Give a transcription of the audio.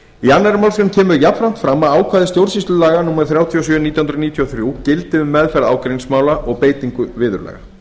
kemur jafnframt fram að ákvæði stjórnsýslulaga númer þrjátíu og sjö nítján hundruð níutíu og þrjú gildi um meðferð ágreiningsmála og beitingu viðurlaga